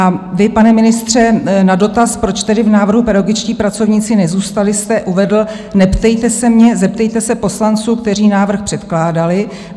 A vy, pane ministře, na dotaz, proč tedy v návrhu pedagogičtí pracovníci nezůstali, jste uvedl: Neptejte se mě, zeptejte se poslanců, kteří návrh předkládali.